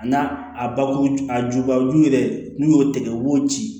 A n'a a bakuru a jubaju yɛrɛ n'u y'o tigɛ u b'o ci